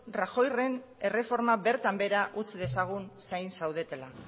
rajoyren erreforma bertan behera utz dezagun zain zaudetela